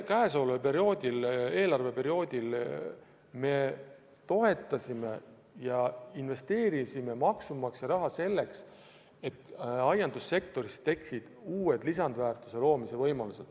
Käesoleval eelarveperioodil me investeerisime maksumaksja raha toetuste näol selleks, et aiandussektoris tekiksid uued lisandväärtuse loomise võimalused.